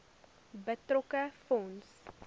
betrokke fonds